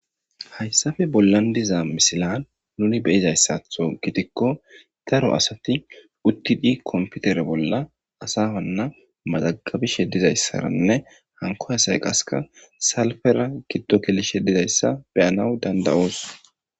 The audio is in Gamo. Hayssappe bollan diiza miisilan nuni beizayssatho giidiko daaro asati uttidi komppitere bolla asana mazagabishe dizayssarane hanko asay qasseka salpera giido gellishe dizaysa be7anawu danda7osu.